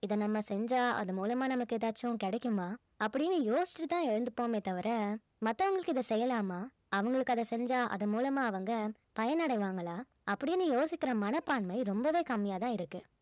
இது நம்ம செஞ்சா அது மூலமா நமக்கு ஏதாச்சும் கிடைக்குமா அப்படின்னு யோசிச்சிட்டு தான் எழுந்திருப்போமே தவிர மத்தவங்களுக்கு இத செய்யலாமா அவங்களுக்கு அதை செஞ்சா அது மூலமா அவங்க பயன் அடைவாங்கலா அப்படின்னு யோசிக்கிற மனப்பான்மை ரொம்பவே கம்மியா தான் இருக்கு